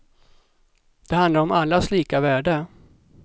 Det handlar om allas lika värde.